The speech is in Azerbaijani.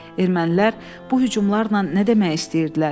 Ermənilər bu hücumlarla nə demək istəyirdilər?